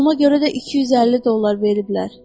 Qoluma görə də 250 dollar veriblər.